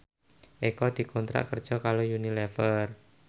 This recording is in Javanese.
Eko dikontrak kerja karo Unilever